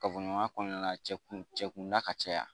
Kafoɲɔgɔnya kɔnɔna cɛ kun cɛ kunda ka caya